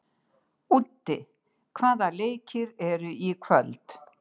Úddi, hvaða leikir eru í kvöld?